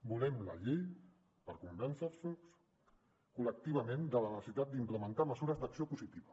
volem la llei per convèncer vos col·lectivament de la necessitat d’implementar mesures d’acció positiva